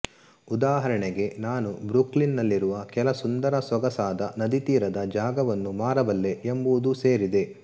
ಉದಾಹರಣೆಗೆನಾನು Brooklyn ನಲ್ಲಿರುವ ಕೆಲ ಸುಂದರಸೊಗಸಾದ ನದೀ ತೀರದ ಜಾಗವನ್ನು ಮಾರಬಲ್ಲೆ ಎಂಬುದೂ ಸೇರಿದೆ